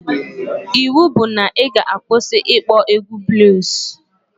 Iwu bụ na ị ga-akwụsị ịkpọ egwu bluus